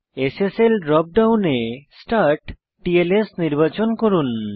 SSL drop ডাউনে স্টার্টটলস নির্বাচন করুন